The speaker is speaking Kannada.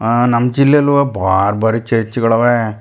ಅಹ್ ನಮ್ಮ ಜಿಲ್ಲೆಲು ಬಾರ್ ಬಾರಿ ಚರ್ಚ್ ಗಳವೇ.